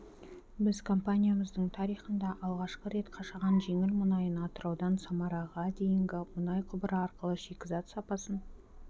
біз компаниямыздың тарихында алғашқы рет қашаған жеңіл мұнайын атыраудан самараға дейінгі мұнай құбыры арқылы шикізат сапасын